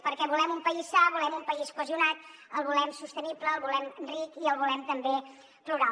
perquè volem un país sa volem un país cohesionat el volem sostenible el volem ric i el volem també plural